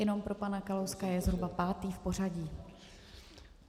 Jenom pro pana Kalouska, je zhruba pátý v pořadí.